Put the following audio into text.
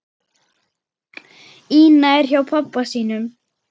Ína er hjá pabba sínum.